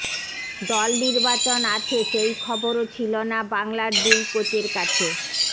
দল নির্বাচন আছে সেই খবরও ছিল না বাংলার দুই কোচের কাছে